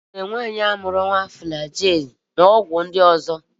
E nyere nwaanyi ahụ mụrụ nwa ugbu a Flagil na ọgwụ ndị ọzọ.